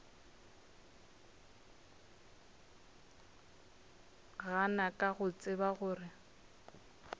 gana ka go tseba gore